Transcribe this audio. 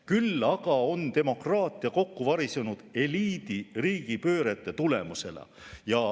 Küll aga on demokraatia kokku varisenud eliidi riigipöörete tõttu.